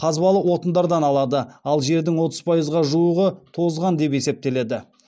қазбалы отындардан алады ал жердің отыз пайызға жуығы тозған деп есептеледі